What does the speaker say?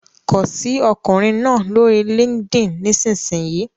Kọ sí ọkùnrin náà lórí LinkedIn nísinsìnyí!